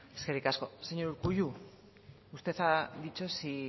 eskerrik asko señor urkullu usted ha dicho sí